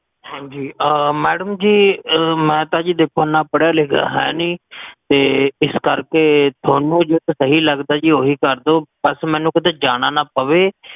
ਹਾਂਜੀ, ਆ madam ਜੀ, ਮੈਂ ਤਾ ਜੀ ਦੇਖੋ ਨਾ ਪੜ੍ਹਿਆ ਲਿਖਿਆ ਹੈ ਨੀ, ਤੇ ਇਸ ਕਰ ਕੇ ਥੋਨੂ ਜੇਕਰ ਸਹੀ ਲਗਦਾ ਜੀ, ਓਹੀ ਕਰਦੋ ਬੱਸ ਮੈਨੂ ਕੀਤੇ ਜਾਣਾ ਨਾ ਪਵੇ